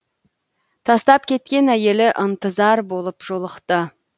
тастап кеткен әйелі ынтызар болып жолықты